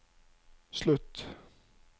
slutt